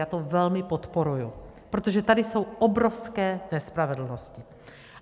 Já to velmi podporuji, protože tady jsou obrovské nespravedlnosti.